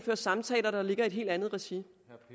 samtaler der ligger i et helt andet regi